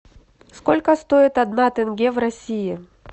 сколько стоит одна тенге в россии